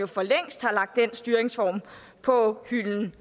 for længst har lagt den styringsform på hylden